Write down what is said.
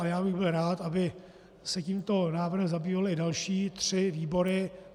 Ale já bych byl rád, aby se tímto návrhem zabývaly i další tři výbory.